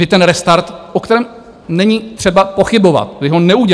Vy ten restart, o kterém není třeba pochybovat, vy ho neuděláte.